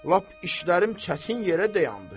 Lap işlərim çətin yerə dayandı.